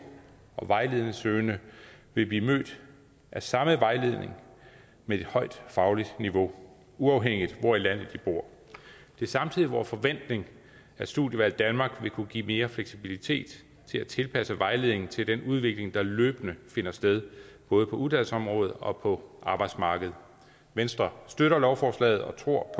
og vejledningssøgende vil blive mødt af samme vejledning med et højt fagligt niveau uanset hvor i landet de bor det er samtidig vor forventning at studievalg danmark vil kunne give mere fleksibilitet til at tilpasse vejledningen til den udvikling der løbende finder sted både på uddannelsesområdet og på arbejdsmarkedet venstre støtter lovforslaget og tror